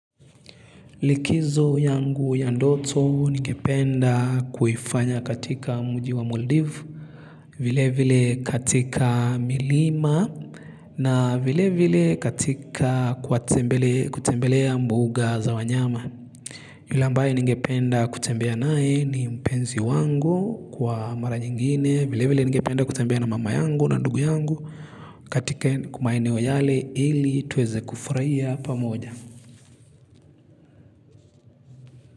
Likizo yangu ya ndoto ningependa kuifanya katika mji wa Maldivi. Vile vile katika milima na vile vile katika kutembelea mbuga za wanyama. Yule ambaye ningependa kutembea naye ni mpenzi wangu kwa mara nyingine vile vile ningependa kutembea na mama yangu na ndugu yangu katika maeneo yale ili tuweze kufurahia pamoja.